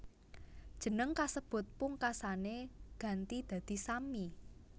Jeneng kasebut pungkasané ganti dadi Sammi